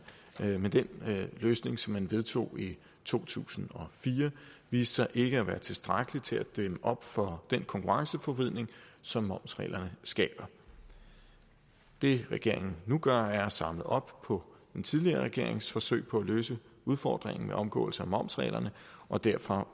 men den løsning som man vedtog i to tusind og fire viste sig ikke at være tilstrækkelig til at dæmme op for den konkurrenceforvridning som momsreglerne skaber det regeringen nu gør er at samle op på den tidligere regerings forsøg på at løse udfordringen med omgåelse af momsreglerne og derfor har